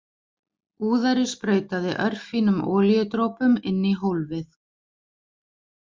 Úðari sprautaði örfínum olíudropum inn í hólfið.